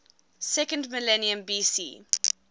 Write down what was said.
second millennium bc